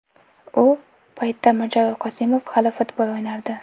U paytda Mirjalol Qosimov hali futbol o‘ynardi.